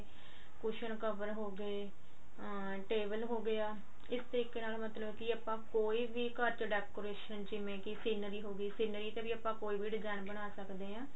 cushion cover ਹੋਗੇ ਅਮ table ਹੋਗਿਆ ਇਸ ਤਰੀਕੇ ਨਾਲ ਮਤਲਬ ਕੀ ਆਪਾਂ ਕੋਈ ਵੀ ਘਰ ਚ decoration ਜਿਵੇਂ ਕੀ scenery ਹੋਗੀ scenery ਤੇ ਵੀ ਆਪਾਂ ਕੋਈ ਵੀ design ਬਣਾ ਸਕਦੇ ਹਾਂ